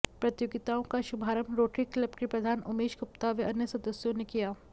प्रतियोगिताओं का शुभारंभ रोटरी क्लब के प्रधान उमेश गुप्ता व अन्य सदस्यों ने किया